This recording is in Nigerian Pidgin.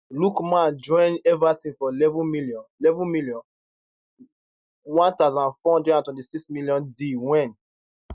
lookman join everton for 11m 11m 1426m deal wen